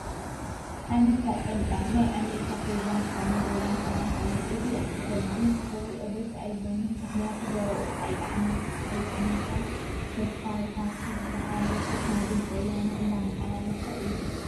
ሓመድካ ጨምጫም ! ናይ ኣሜርካ ፕሬዚዳንት ዝኮኑ ዶላር ትራፕ እዩ። እዚ ሰብ እዚ ክሪኦ ደስ ኣይብለንን። ምኽንያቱ ዘረብኡ ኣይጥዕመካን ። ተስፋይ ሃፍቱ ዝብሃል ሪፖርተር ናይ ድምፂ ወያነ እንዳማሓላለፎ እዩ።